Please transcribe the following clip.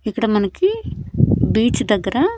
ఇక్కడ మనకి బీచ్ దగ్గర.